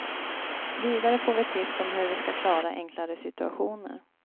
Vidare får vi tips om hur vi ska klara enklare situationer.